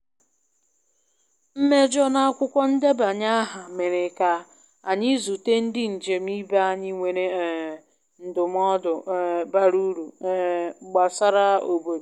Mmejọ n`akwụkwọ ndebanye aha mere ka-anyị zute ndi njem ibe anyị nwere um ndụmodụ um bara uru um gbasra obodo